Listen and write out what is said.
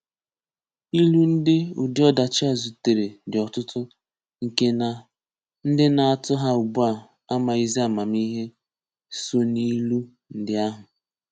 Ìlù ndị ụdị ọdachi a zutere dị ọ̀tụ̀tụ̀, nke na ndị na-atù ha ugbua amaghịzị amamihe so n’ìlù ndị ahụ.